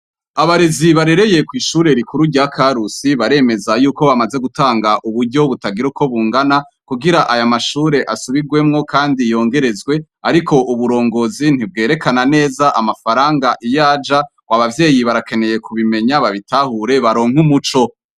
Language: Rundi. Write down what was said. Abarezi barereye kw'ishure rikuru rya Karusi baremeza yuko bamaze gutanga uburyo butagira uko bungana, kugira aya mashure asubirwemwo kandi yongerezwe. Ariko uburongozi ntibwerekana neza amafaranga iyo aja. Ngo abavyeyi barakeneye kubimenya, babitahure, baronke umuco.